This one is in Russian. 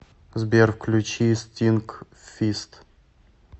сбер включи стинкфист